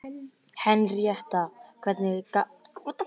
Henrietta, hvernig er dagskráin?